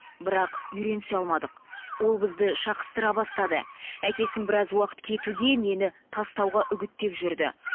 бірақ үйренісе алмадық ол бізді шақыстыра бастады әкесін біраз уақыт кетуге мені тастауға үгіттеп жүрді